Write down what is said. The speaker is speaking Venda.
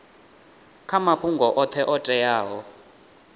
kha mafhungo oṱhe o teaho